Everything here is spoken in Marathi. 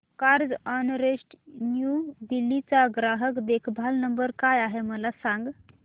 कार्झऑनरेंट न्यू दिल्ली चा ग्राहक देखभाल नंबर काय आहे मला सांग